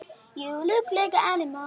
Satt eða logið.